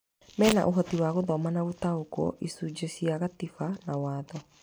Mena ũhoti wa gũthoma na gũtaũkwo icunjĩ cia gatiba na watho.